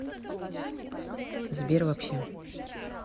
сбер вообще